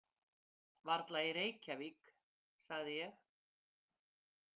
Varla í Reykjavík, sagði ég.